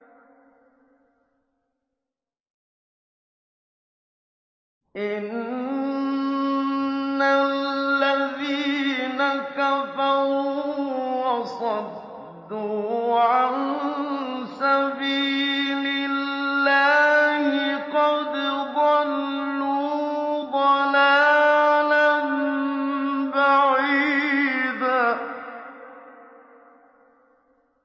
إِنَّ الَّذِينَ كَفَرُوا وَصَدُّوا عَن سَبِيلِ اللَّهِ قَدْ ضَلُّوا ضَلَالًا بَعِيدًا